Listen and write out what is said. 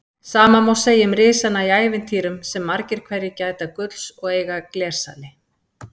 Sama má segja um risana í ævintýrum sem margir hverjir gæta gulls og eiga glersali.